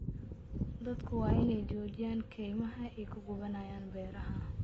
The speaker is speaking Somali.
Dadku waa in ay joojiyaan kaymaha ay ku gubanayaan beeraha.